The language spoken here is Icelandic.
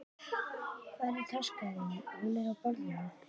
Hvar er taskan þín? Hún er á borðinu.